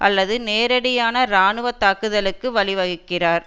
அல்லது நேரடியான இராணுவ தாக்குதலுக்கு வழிவகுக்கிறார்